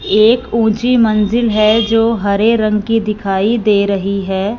एक ऊंची मंजिल है जो हरे रंग की दिखाई दे रही हैं।